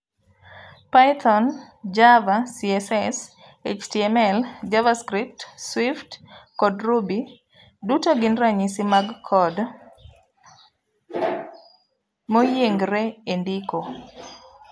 Python, Java, CSS/HTML,Javascript, Swft, kod Ruby duto gin ranyisi mag code moyiengre e ndiko.